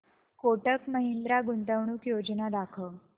कोटक महिंद्रा गुंतवणूक योजना दाखव